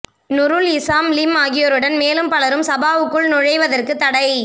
Nurul Izzah Lim ஆகியோருடன் மேலும் பலரும் சபாவுக்குள் நுழைவதற்குத் தடை